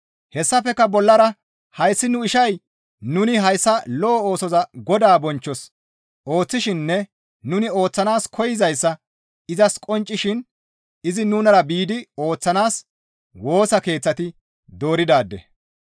Hessafekka bollara hayssi nu ishay nuni hayssa lo7o oosoza Godaa bonchchos ooththishininne nuni ooththanaas koyzayssa izas qonccisishin izi nunara biidi ooththanaas Woosa Keeththati dooridaade.